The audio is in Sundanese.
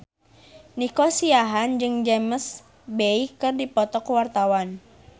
Nico Siahaan jeung James Bay keur dipoto ku wartawan